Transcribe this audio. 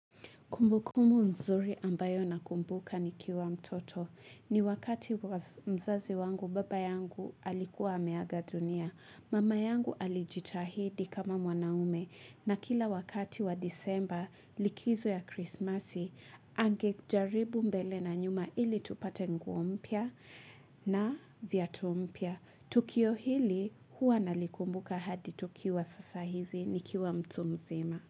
Kumbukumu nzuri ambayo nakumbuka nikiwa mtoto. Ni wakati mzazi wangu baba yangu alikuwa ameaga dunia. Mama yangu alijitahidi kama mwanaume. Na kila wakati wa disemba likizo ya krismasi angejaribu mbele na nyuma ili tupate nguo mpya na vyatu mpya. Tukio hili hua nalikumbuka hadi tukiwa sasa hivi nikiwa mtu mzima.